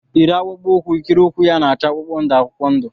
Yiri akpụkpọ ụkwụ ikiri ụkwụ ya na-acha akwụkwọ ndụ akwụkwọ ndụ!